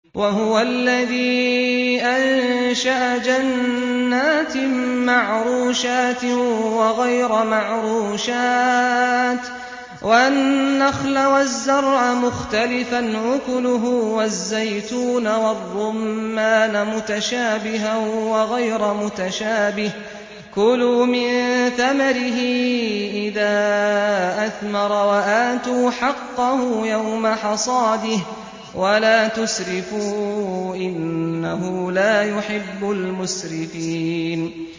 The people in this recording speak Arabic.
۞ وَهُوَ الَّذِي أَنشَأَ جَنَّاتٍ مَّعْرُوشَاتٍ وَغَيْرَ مَعْرُوشَاتٍ وَالنَّخْلَ وَالزَّرْعَ مُخْتَلِفًا أُكُلُهُ وَالزَّيْتُونَ وَالرُّمَّانَ مُتَشَابِهًا وَغَيْرَ مُتَشَابِهٍ ۚ كُلُوا مِن ثَمَرِهِ إِذَا أَثْمَرَ وَآتُوا حَقَّهُ يَوْمَ حَصَادِهِ ۖ وَلَا تُسْرِفُوا ۚ إِنَّهُ لَا يُحِبُّ الْمُسْرِفِينَ